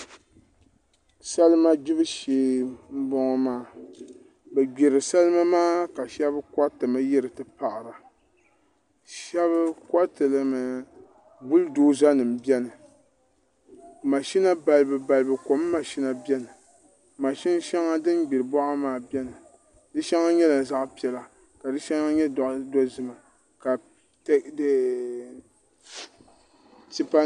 salima gbibu shee n boŋo maa bi gbiri salima maa ka shab koritimi yiri ti paɣara shab koritilimi bul doza nim biɛni mashina balibu balibu kom mashina biɛni mashina din gbiri boɣa maa biɛni di shɛŋa nyɛla zaɣ piɛla ka di shɛŋa nyɛ zaɣ dozima